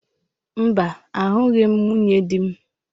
Mba, ahụghị m nwunye di m.